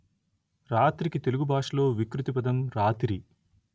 రాత్రికి తెలుగు భాషలో వికృతి పదం రాతిరి